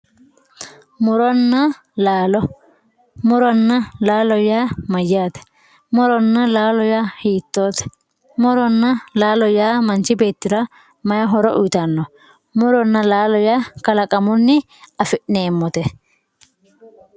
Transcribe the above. muronna laalo muronna laalo yaa mayyaate muronna laalo yaa hiittoote muronna laalo yaa manchi beettira mayii horo uyiitanno muronna laalo yaa kalaqamunni afi'neemmote